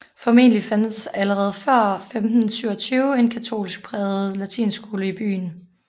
Formentlig fandtes der allerede før 1527 en katolsk prægede latinskole i byen